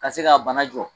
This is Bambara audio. Ka se ka bana jɔ